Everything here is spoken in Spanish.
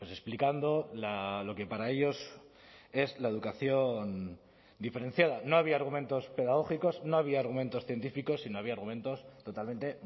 explicando lo que para ellos es la educación diferenciada no había argumentos pedagógicos no había argumentos científicos y no había argumentos totalmente